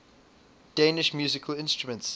danish musical instruments